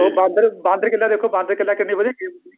ਉਹ ਬਾਂਦਰ ਬਾਂਦਰ ਕਿੱਲਾ ਦੇਖੋ ਕਿੰਨੀ ਵਧੀਆ game ਹੁੰਦੀ ਸੀ